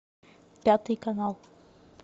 пятый канал